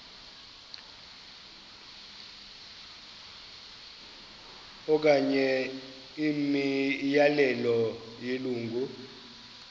okanye imiyalelo yelungu